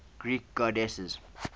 greek goddesses